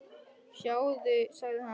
Sjáðu, sagði hann.